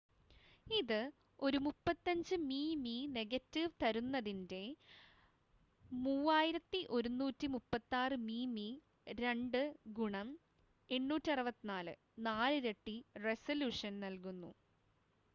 ഇത് ഒരു 35 മിമി നെഗറ്റീവ് തരുന്നതിന്റെ 3136 മിമി2 ഗുണം 864 നാലിരട്ടി റെസലൂഷൻ നൽകുന്നു